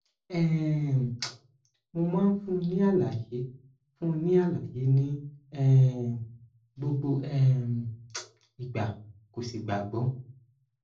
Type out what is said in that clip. um mo máa ń fúnni ní àlàyé fúnni ní àlàyé ní um gbogbo um ìgbà kò sì gbàgbọ